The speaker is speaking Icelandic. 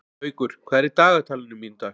Haukur, hvað er í dagatalinu mínu í dag?